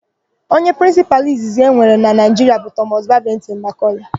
Onye prịnsịpalụ izizi e nwere na Naịjiria bụ Tọmọs Babịntịn Makọle.